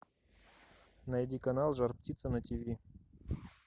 найди канал жар птица на тв